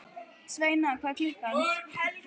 Sveina, hvað er klukkan?